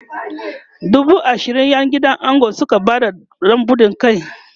dubu ashirin ƴan gidan ango Suka Bada na buɗan kai